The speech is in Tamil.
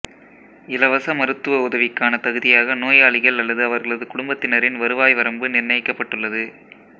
இலவச மருத்துவ உதவிக்கான தகுதியாக நோயாளிகள் அல்லது அவர்களது குடும்பத்தினரின் வருவாய் வரம்பு நிர்ணயிக்கப்பட்டுள்ளது